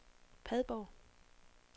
Padborg